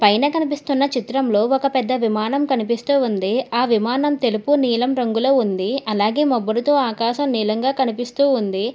పైన కనిపిస్తున్న చిత్రంలో ఒక పెద్ద విమానం కనిపిస్తూ ఉంది ఆ విమానం తెలుపు నీలం రంగులో ఉంది అలాగే మబ్బులతో ఆకాశం నీలంగా కనిపిస్తూ ఉంది.